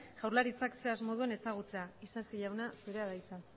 jaurlaritzak ze asmo duen ezagutzeko isasi jauna zurea da hitza